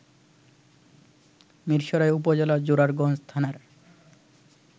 মিরসরাই উপজেলার জোরারগঞ্জ থানার